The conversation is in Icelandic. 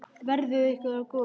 Verði ykkur að góðu.